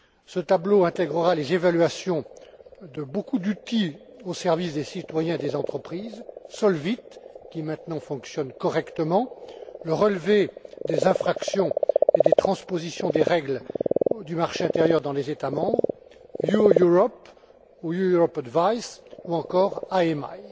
Ce tableau intègrera les évaluations de beaucoup d'outils au service des citoyens et des entreprises SOLVIT, qui maintenant fonctionne correctement, le relevé des infractions et des transpositions des règles du marché intérieur dans les États membres, Your Europe ou Your Europe Advice ou encore IMI.